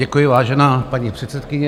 Děkuji, vážená paní předsedkyně.